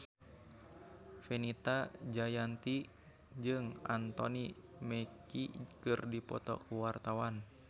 Fenita Jayanti jeung Anthony Mackie keur dipoto ku wartawan